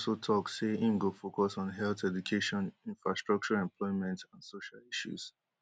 im also tok say im go focus on health education infrastructure employment and social issues